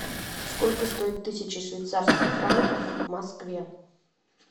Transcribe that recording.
сколько стоит тысяча швейцарских франков в москве